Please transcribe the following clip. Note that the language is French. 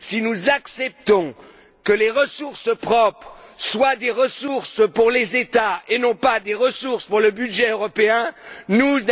Si nous acceptons que les ressources propres soient des ressources pour les États et non pas des ressources pour le budget européen, où allons nous?